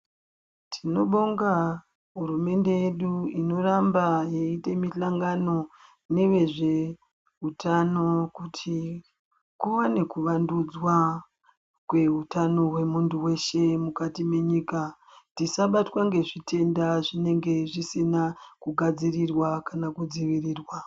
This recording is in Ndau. Tinobonga hurumende yedu inoramba yeiite mihlangano neve zveutano kuti kuwane kuvandudzwa kweutano hwemuntu weshe mukati menyika, tisabatwa ngezvitenda zvinenge zvisina kugadzirirwa kana kudziviriwa.